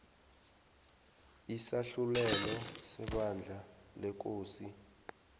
isahlulelo sebandla lekosini